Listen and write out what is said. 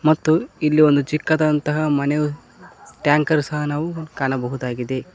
ಮತ್ತು ಇಲ್ಲಿ ಒಂದು ಚಿಕ್ಕದಾದಂತ ಮನೆಯು ಟ್ಯಾಂಕರ್ ಸಹ ನಾವು ಕಾಣಬಹುದಾಗಿದೆ.